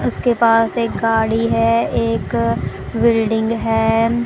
उसके पास एक गाड़ी है एक बिल्डिंग है।